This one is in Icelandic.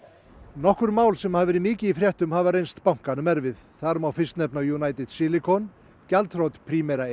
nokkur mál sem hafa verið mikið í fréttum hafa reynst bankanum erfið þar má fyrst nefna United Silicon gjaldþrot Primera